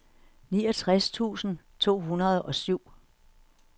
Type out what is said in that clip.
niogtres tusind to hundrede og syv